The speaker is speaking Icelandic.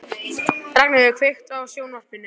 Ragnheiður, kveiktu á sjónvarpinu.